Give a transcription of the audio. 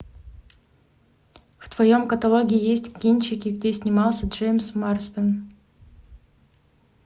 в твоем каталоге есть кинчики где снимался джеймс марсден